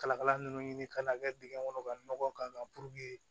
Kalakala ninnu ɲini ka n'a kɛ dingɛ kɔnɔ ka nɔgɔ k'a kan